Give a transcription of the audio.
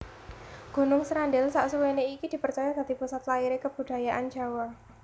Gunung Srandil saksuwéné iki dipercaya dadi pusat lahiré kebudayaan Jawa